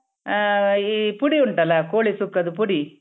ಆ ಈ ಪುಡಿ ಉಂಟಲ್ಲ ಕೋಳಿ ಸುಕ್ಕದ್ದು ಪುಡಿ.